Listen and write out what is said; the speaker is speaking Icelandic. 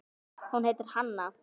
Hún heitir Hanna.